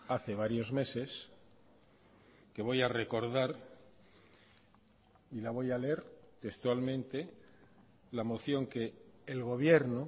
hace varios meses que voy a recordar y la voy a leer textualmente la moción que el gobierno